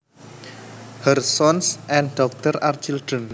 Her sons and daughters are children